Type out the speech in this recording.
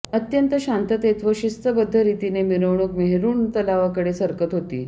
अत्यंत शांततेत व शिस्तबद्ध रीतीने मिरवणूक मेहरूण तलावाकडे सरकत होती